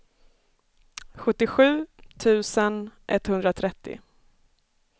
sjuttiosju tusen etthundratrettio